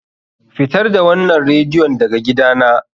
Fitar da wannan radiyon daga gidana!